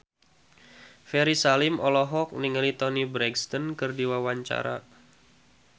Ferry Salim olohok ningali Toni Brexton keur diwawancara